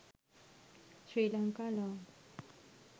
sri lanka long